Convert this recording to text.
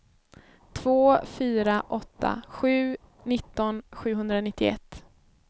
två fyra åtta sju nitton sjuhundranittioett